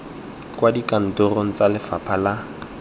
kwa dikantorong tsa lefapha la